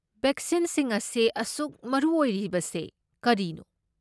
ꯕꯦꯛꯁꯤꯟꯁꯤꯡ ꯑꯁꯤ ꯑꯁꯨꯛ ꯃꯔꯨ ꯑꯣꯏꯔꯤꯕꯁꯦ ꯀꯔꯤꯅꯣ?